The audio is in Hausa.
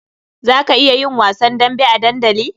Za ka iya yin wasan dambe a dandali?